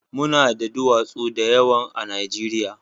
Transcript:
Mu na da duwatsu da yawa a Najeriya